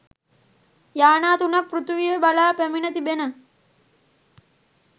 යානා තුනක් පෘථිවිය බලා පැමිණ තිබෙන